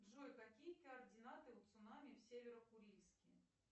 джой какие координаты у цунами в северо курильске